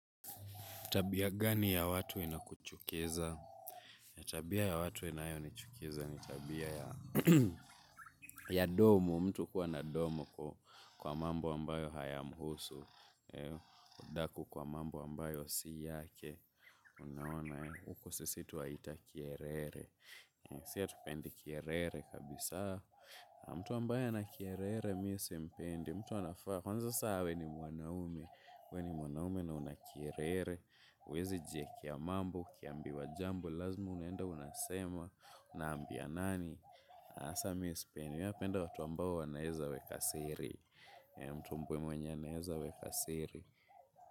Tabia gani ya watu inakuchukiza? Tabia ya watu inayonichukiza ni tabia ya domo. Mtu kuwa na domo kwa mambo ambayo hayamhusu. Udaku kwa mambo ambayo si yake. Unaona, huko sisi twaita kiherehere. Si hatupendi kiherehere kabisa. Mtu ambaye ana kiherehere mi simpendi. Mtu anafaa. Kwanza sasa awe ni mwanaume. We ni mwanaume na una kiherehere. Huwezi jiekea mambo, ukiambiwa jambo, lazima unenda unasema, unaambia nani sasa mi sipendi, mi napenda watu ambao wanaeza weka siri. Mtu mwenye anaeza weka siri.